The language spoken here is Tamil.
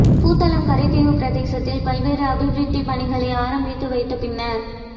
புத்தளம் கரைத்தீவு பிரதேசத்தில் பல்வேறு அபிவிருத்திப் பணிகளை ஆரம்பித்து வைத்த பின்னர்